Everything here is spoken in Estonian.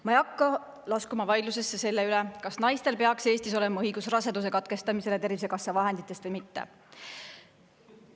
Ma ei hakka laskuma vaidlusesse selle üle, kas naistel peaks Eestis olema õigus raseduse katkestamisele Tervisekassa vahendite eest või mitte.